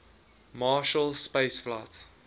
marshall space flight